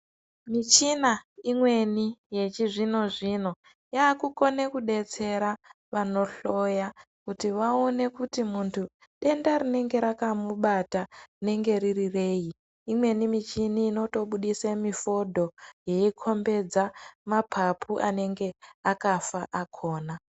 Michina imweni yechizvino zvino yakukone kudetsera vanohloya kuti vaone kuti muntu denda rinenge rakamubata rinenge riri reyi imweni michini inotobudise mifodho yeikombedza mapapu anenge akafa akona.